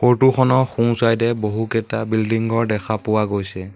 Photo খনৰ সোঁচাইডে বহুকেইটা বিল্ডিং ঘৰ দেখা পোৱা গৈছে।